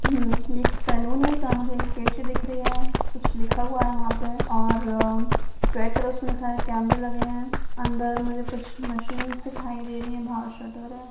हम्म ये एक सैलून है जहां मुझे एक कैंची दिख रही है कुछ लिखा हुआ है वहाँ पे और रेड कलर से उसमें लिखा है कैमरे लगे है अंदर मुझे कुछ मशीन्स दिखाई दे रही है बाहर शटर है।